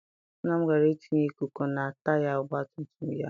Nna m gara I tinye ikuku na taya ọgbatumtum ya.